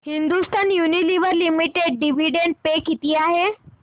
Hindustan Unilever limited dividend pay किती आहे